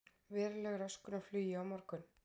Veruleg röskun á flugi á morgun